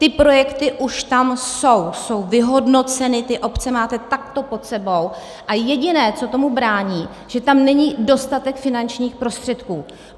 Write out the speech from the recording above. Ty projekty už tam jsou, jsou vyhodnoceny, ty obce máme takto pod sebou, a jediné, co tomu brání, že tam není dostatek finančních prostředků.